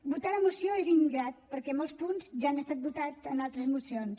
votar la moció és ingrat perquè molts punts ja han estat votats en altres mocions